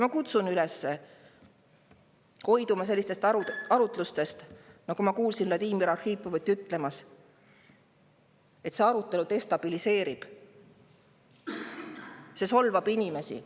Ma kutsun üles hoiduma sellistest arutlustest, nagu ma kuulsin Vladimir Arhipovilt, et see arutelu destabiliseerib, see solvab inimesi.